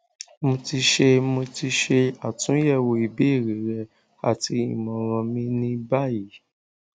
mo ti ṣe mo ti ṣe atunyẹwo ibeere rẹ ati imọran mi ni bayi